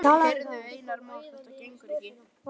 Heyrðu, Einar Már, þetta gengur ekki.